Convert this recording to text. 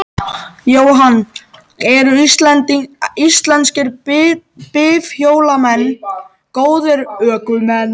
Jóhann: Eru íslenskir bifhjólamenn góðir ökumenn?